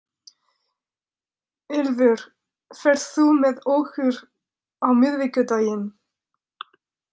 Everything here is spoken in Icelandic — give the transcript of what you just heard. Ylfur, ferð þú með okkur á miðvikudaginn?